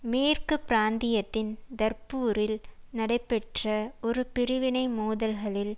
மேற்கு பிராந்தியத்தின் டர்புரில் நடைபெற்ற ஒரு பிரிவினை மோதல்களில்